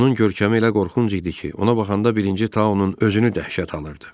Onun görkəmi elə qorxunc idi ki, ona baxanda birinci Tauun özünü dəhşət alırdı.